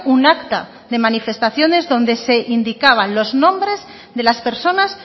un acta de manifestaciones donde se indicaban los nombres de las personas